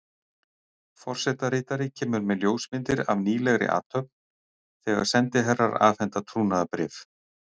Forsetaritari kemur með ljósmyndir af nýlegri athöfn, þegar sendiherrar afhenda trúnaðarbréf.